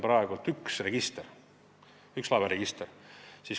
Praegu on Eestis üks laevaregister.